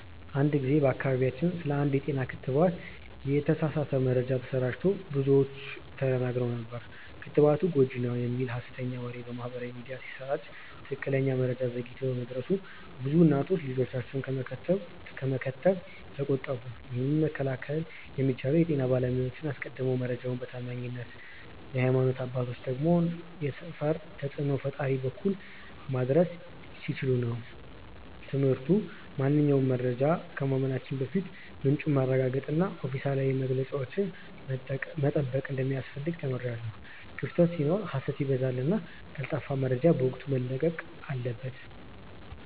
አንድ ጊዜ በአካባቢያችን ስለ አንድ የጤና ክትባት የተሳሳተ መረጃ ተሰራጭቶ ብዙዎች ተደናግረው ነበር። ክትባቱ ጎጂ ነው" የሚል ሀሰተኛ ወሬ በማህበራዊ ሚዲያ ሲሰራጭ ትክክለኛ መረጃ ዘግይቶ በመድረሱ ብዙ እናቶች ልጆቻቸውን ከመከተብ ተቆጠቡ። ይህንን መከላከል የሚቻለው የጤና ባለሙያዎች አስቀድመው መረጃውን በታማኝ የሀይማኖት አባቶች ወይም የሰፈር ተጽእኖ ፈጣሪዎች በኩል ማድረስ ሲችሉ ነበር። ትምህርቱ ማንኛውንም መረጃ ከማመናችን በፊት ምንጩን ማረጋገጥና ኦፊሴላዊ መግለጫዎችን መጠበቅ እንደሚያስፈልግ ተምሬያለሁ። ክፍተት ሲኖር ሀሰት ይበዛልና ቀልጣፋ መረጃ በወቅቱ መለቀቅ አለበት።